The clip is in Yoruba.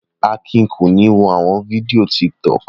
Akin kò ní wo àwọn fídíò Tiktok.